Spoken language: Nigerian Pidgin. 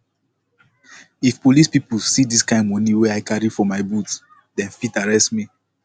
if police pipu see dis kind moni wey i carry for boot dem fit arrest me